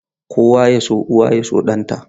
Kowa ya so uwa ya so ɗanta.